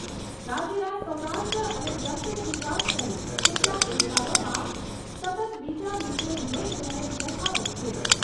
રાજ્યના સૌરાષ્ટ્ર અને દક્ષિણ ગુજરાત સહિત કેટલાક વિસ્તારોમાં સતત બીજા દિવસે મેઘમહેર યથાવત છે.